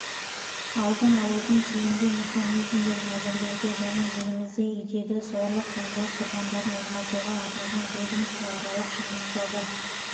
алдын алудың тиімді механизмдерін әзірлеуге және елімізде үйдегі зорлық-зомбылық құрбандарын оңалтуға арналған ведомствоаралық жұмыс тобы